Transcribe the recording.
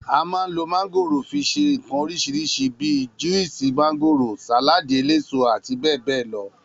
A mà ń ló màgórò fi sẹ ìkan orisirisi bí, Juwúsì màgórò, Sàlàdí ẹlẹsó ,abbl.